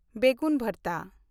ᱵᱮᱜᱩᱱ ᱵᱷᱟᱨᱛᱟ